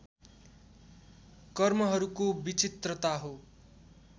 कर्महरूको विचित्रता हो